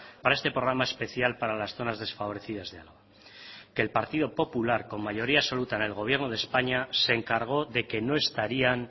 para este programa especial para las zonas desfavorecidas de álava que el partido popular con mayoría absoluta en el gobierno de españa se encargó de que no estarían